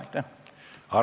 Arto Aas.